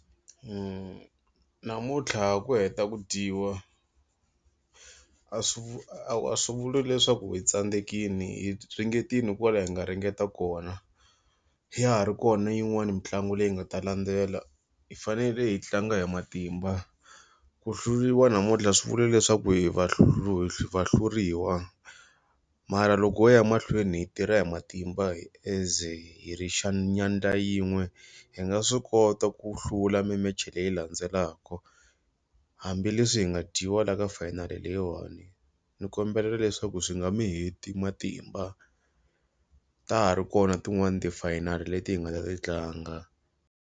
Namuntlha ha ha ku heta ku dyiwa a swi vu a swi vuli leswaku hi tsandzekile hi ringetile kwala hi nga ringeta kona, ya ha ri kona yin'wani mitlangu leyi nga ta landzela hi fanele hi tlanga hi matimba. Ku hluriwa namuntlha a swi vula leswaku hi va hlu hi vahluriwa. Mara loko ho ya mahlweni hi tirha hi matimba as hi ri nyandza yin'we. Hi nga swi kota ku hlula mi-match-i leyi landzelaka, hambileswi hi nga dyiwa laha ka final leyiwani. Ni kombela leswaku swi nga mi heti matimba ta ha ri kona tin'wani ti-final-i leti hi nga ta ti tlanga.